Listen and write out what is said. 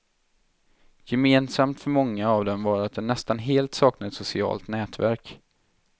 Gemensamt för många av dem var att de nästan helt saknade ett socialt nätverk.